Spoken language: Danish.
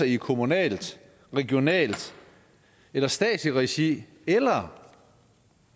i kommunalt regionalt eller statsligt regi eller